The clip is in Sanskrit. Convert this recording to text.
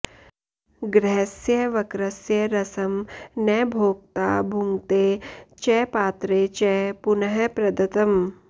ग्रहस्य वक्रस्य रसं न भोक्ता भुङ्क्ते च पात्रे च पुनः प्रदत्तम्